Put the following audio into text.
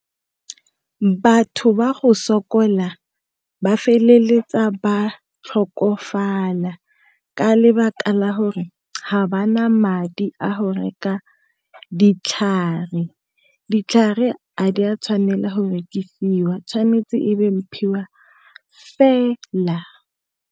Batho ba go sokola ba feleletsa ba tlhokofala ka lebaka la hore ga ba na madi a go reka ditlhare, ditlhare a di a tshwanela go rekisiwa e tshwanetse go fela.